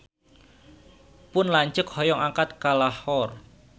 Pun lanceuk hoyong angkat ka Lahore